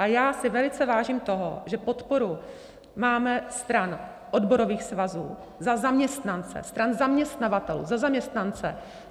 A já si velice vážím toho, že podporu máme stran odborových svazů za zaměstnance, stran zaměstnavatelů za zaměstnance.